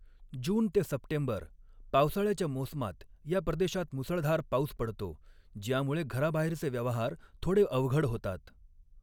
जून ते सप्टेंबर, पावसाळ्याच्या मोसमात या प्रदेशात मुसळधार पाऊस पडतो, ज्यामुळे घराबाहेरचे व्यवहार थोडे अवघड होतात.